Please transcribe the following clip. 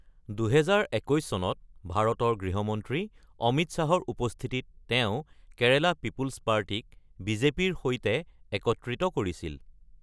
২০২১ চনত ভাৰতৰ গৃহমন্ত্ৰী অমিত শ্বাহৰ উপস্থিতিত তেওঁ কেৰেলা পিপল্ছ পাৰ্টিক বিজেপিৰ সৈতে একত্ৰিত কৰিছিল।